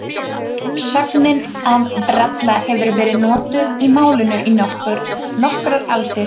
Sögnin að bralla hefur verið notuð í málinu í nokkrar aldir.